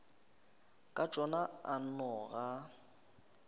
ka tšona a nno ga